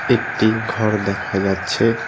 একটি ঘর দেখা যাচ্ছে।